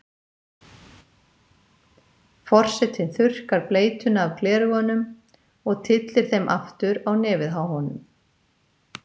Forsetinn þurrkar bleytuna af gleraugunum og tyllir þeim aftur á nefið á honum.